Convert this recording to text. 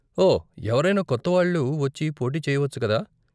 ఓ, ఎవరైనా కొత్తవాళ్ళు వచ్చి పోటీ చేయవచ్చు కదా?